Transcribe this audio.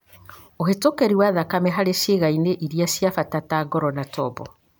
Ũhĩtũkĩri wa thakame harĩ ciĩga-inĩ iria cia bata ta ngoro na tombo.